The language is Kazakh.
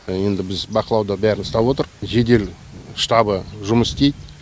енді біз бақылауда бәрін ұстап отырық жедел штабы жұмыс істейді